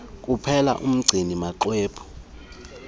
kuphela umgcini maxwebhu